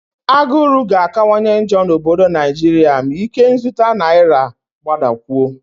Agụrụ ga-akawanye njọ n'obodo Naijiria ma ikenzụta naira gbadakwuo